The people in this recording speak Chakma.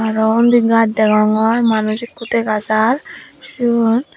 aro undi gaj degongor manuj ekku dega jar siyot.